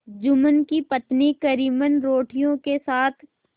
जुम्मन की पत्नी करीमन रोटियों के साथ